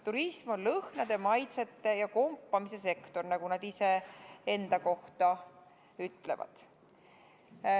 Turism on lõhnade, maitsete ja kompimise sektor, nagu nad ise enda kohta ütlevad.